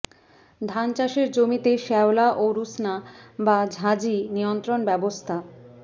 ধান চাষের জমিতে শ্যাওলা ও রুস্না বা ঝাঁঝি নিয়ন্ত্রণ ব্যবস্থা